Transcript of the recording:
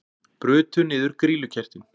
Brutu niður grýlukertin